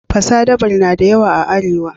Fasadabur na da yawa a Arewa.